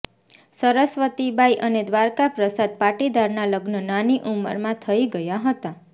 સરસ્વતી બાઈ અને દ્વારકા પ્રસાદ પાટીદારના લગ્ન નાની ઉંમરમાં થઈ ગયા હતા